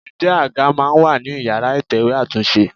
Ǹjẹ́ àga máa ń wà ní ìyára ìtẹ̀wẹ́ àtúnṣe?